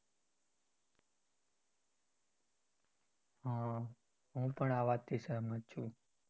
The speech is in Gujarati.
હા પણ આ વાત થી સેહમત છુ.